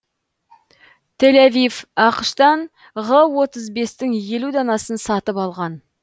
тель авив ақш тан ғ отыз бестің елу данасын сатып алған